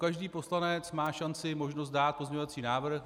Každý poslanec má šanci, možnost dát pozměňovací návrh.